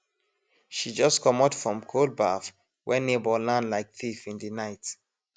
she just comot from cold baff when neighbor land like thief in the night